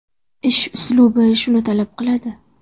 Ish uslubi shuni talab qiladi.